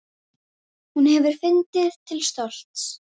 Enginn kærði sig um hann.